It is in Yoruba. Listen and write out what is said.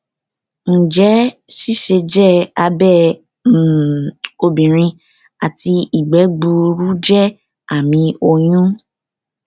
njẹ siseje abẹ um obinrin ati igbe gbuuru jẹ ami oyun